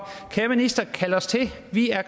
kære minister kald os til vi er